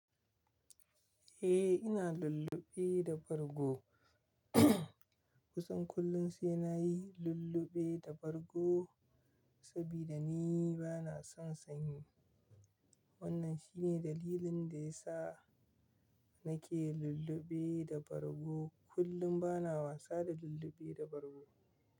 Eh, ina lullube da bargo. Kusan kullum sai na yi lullube da bargo saboda ni ba na son sanyi. Wannan shi ne dalilin da ya sa na ke lullube da bargo. Kullum ba na wasa da lullube da bargo.